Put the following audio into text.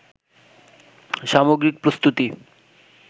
সামগ্রিক প্রস্তুতি